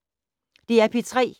DR P3